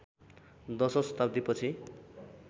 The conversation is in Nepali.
दशौं शताब्दीपछि